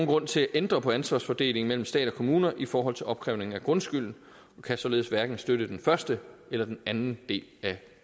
grund til at ændre på ansvarsfordelingen mellem stat og kommuner i forhold til opkrævning af grundskylden og kan således hverken støtte den første eller den anden del af